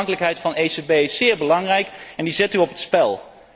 De onafhankelijkheid van de ECB is zeer belangrijk en die zet u op het spel.